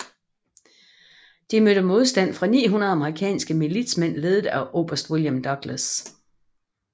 De mødte modstand fra 900 amerikanske militsmænd ledet af oberst William Douglas